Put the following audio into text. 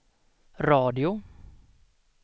radio